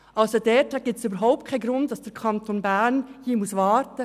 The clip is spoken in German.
Es gibt keinen Grund für den Kanton Bern, diesbezüglich zu warten.